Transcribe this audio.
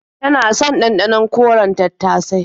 Tana son ɗanɗanon koren tattasai.